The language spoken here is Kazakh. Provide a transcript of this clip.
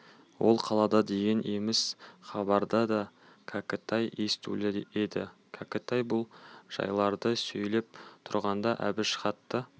ол қалада деген еміс хабарды да кәкітай естулі еді кәкітай бұл жайларды сөйлеп тұрғанда әбіш хатты